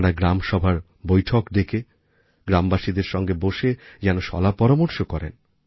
তাঁরা গ্রামসভার বৈঠক ডেকে গ্রামবাসীদের সঙ্গে বসে যেন শলাপরামর্শকরেন